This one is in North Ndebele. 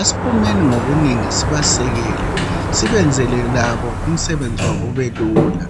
Asiphumeni ngobunengi sibasekele. Sibenzele umsebenzi wabo ubelula.